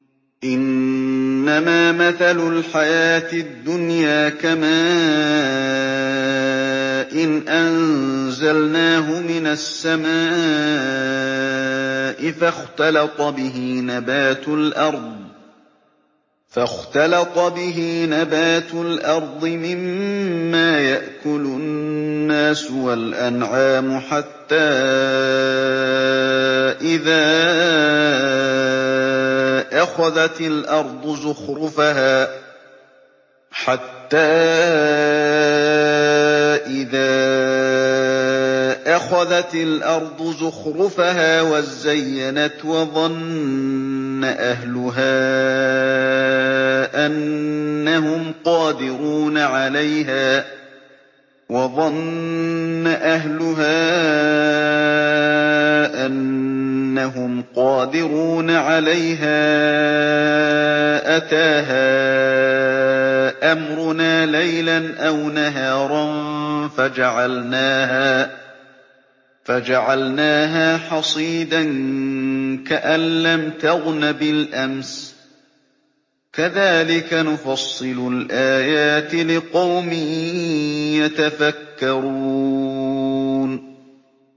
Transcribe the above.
إِنَّمَا مَثَلُ الْحَيَاةِ الدُّنْيَا كَمَاءٍ أَنزَلْنَاهُ مِنَ السَّمَاءِ فَاخْتَلَطَ بِهِ نَبَاتُ الْأَرْضِ مِمَّا يَأْكُلُ النَّاسُ وَالْأَنْعَامُ حَتَّىٰ إِذَا أَخَذَتِ الْأَرْضُ زُخْرُفَهَا وَازَّيَّنَتْ وَظَنَّ أَهْلُهَا أَنَّهُمْ قَادِرُونَ عَلَيْهَا أَتَاهَا أَمْرُنَا لَيْلًا أَوْ نَهَارًا فَجَعَلْنَاهَا حَصِيدًا كَأَن لَّمْ تَغْنَ بِالْأَمْسِ ۚ كَذَٰلِكَ نُفَصِّلُ الْآيَاتِ لِقَوْمٍ يَتَفَكَّرُونَ